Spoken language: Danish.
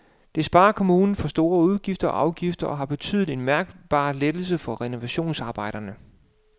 Det sparer kommunen for store udgifter og afgifter og har betydet en mærkbar lettelse for renovationsarbejderne.